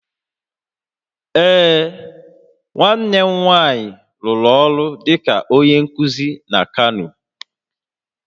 Ee, nwanne m nwanyị rụrụ ọrụ dịka onye nkuzi na Kano